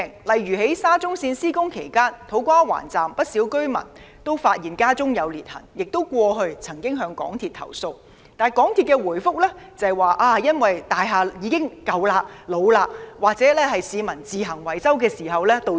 例如，在沙中線項目施工期間，土瓜灣站工地附近的不少居民均發現所居單位出現裂痕，過去他們亦曾向港鐵公司投訴，但港鐵公司的回覆卻指裂痕是因為大廈陳舊老化或市民自行維修導致。